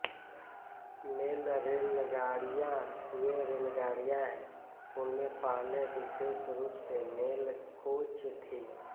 mail रेलगाड़ियां वे रेलगाड़ियां हैं उनमें पहले विशेष रूप से मेल कोच थीं